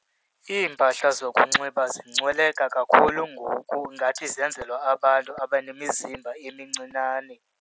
Iimpahla zokunxiba zincweleka kakhulu ngoku ngathi zenzelwa abantu abanemizimba emincinane.